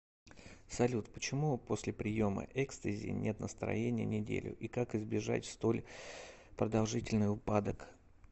салют почему после приема экстази нет настроения неделю и как избежать столь продолжительный упадок